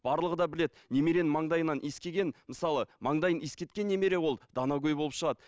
барлығы да біледі немеренің маңдайынан иіскеген мысалы маңдайын иіскеткен немере ол данагөй болып шығады